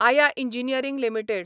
आया engineering limited